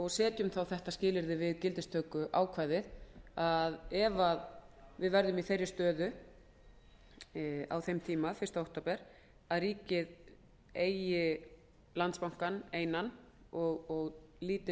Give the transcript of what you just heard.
og setjum þá þetta skilyrði við gildistökuákvæðið ef við verðum í þeirri stöðu á þeim tíma fyrsta október að ríkið eigi landsbankann einan og lítinn